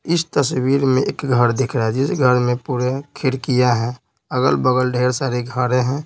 इस तस्वीर में एक घर दिख रहा है जिस घर में पूरे खिड़कियां हैं अगल-बगल ढेर सारे घरें हैं।